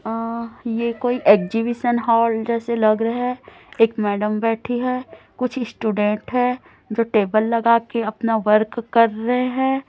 अं ये कोई exhibition hall जैसे लग रहे एक मैडम बैठी है कुछ स्टूडेंट है जो टेबल लगा के अपना वर्क कर रहे हैं।